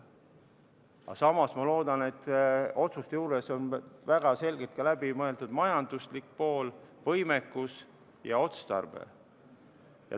Aga samas ma loodan, et otsuste juures on väga selgelt läbi mõeldud ka majanduslik pool, võimekus ja otstarve.